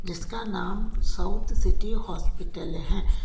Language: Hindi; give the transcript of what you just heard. जिसका नाम साउथ सिटी हॉस्पिटल है।